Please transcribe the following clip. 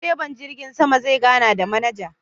direban jirgin sama zai gana da manaja.